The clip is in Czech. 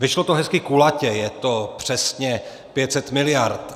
Vyšlo to hezky kulatě, je to přesně 500 miliard.